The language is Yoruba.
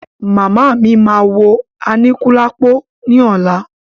Màmá mí máa wo Aníkúlápò ní ọ̀la.